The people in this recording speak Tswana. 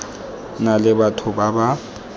na le batho ba ba